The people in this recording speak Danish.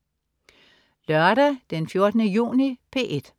Lørdag den 14. juni - P1: